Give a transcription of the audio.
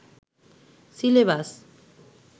syllabus